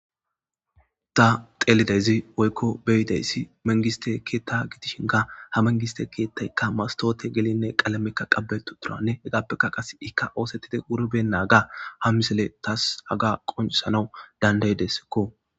Ta xeelidayzi woykko beyidayssi mengiste keetta giidishinka ha mengiste keettaykka mastoote gelinne qalamekka qabbetu turanne hegaappeka qas ikka oosettide wurben naaga ha misele taas haga qoncisanau dandayideskko.